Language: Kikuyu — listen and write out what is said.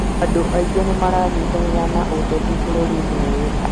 andũ aingĩ nĩ maranyitanĩra na ũteti bũrũriinĩ ũyũ